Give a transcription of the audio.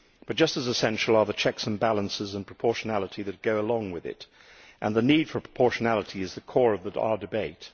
But just as essential are the checks and balances and the proportionality that go along with it, and the need for proportionality is at the core of our debate.